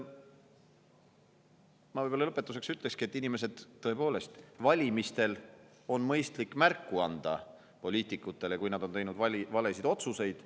Ma lõpetuseks ütlekski, et inimesed, valimistel on mõistlik anda poliitikutele märku, kui nad on teinud valesid otsuseid.